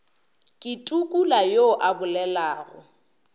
ke tukula yo a bolelago